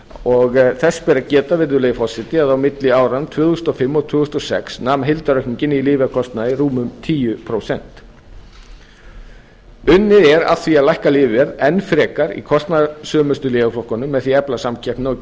og þess bera að geta virðulegi forseti að á milli áranna tvö þúsund og fimm og tvö þúsund og sex nam heildaraukningin í lyfjakostnaði rúmum tíu prósent unnið er að því að lækka lyfjaverð enn frekar í kostnaðarsömustu lyfjaflokkunum með því að efla samkeppnina og